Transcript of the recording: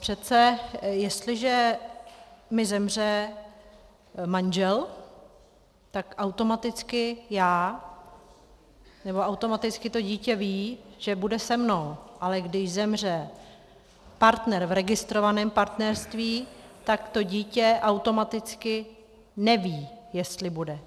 Přece jestliže mi zemře manžel, tak automaticky já nebo automaticky to dítě ví, že bude se mnou, ale když zemře partner v registrovaném partnerství, tak to dítě automaticky neví, jestli bude.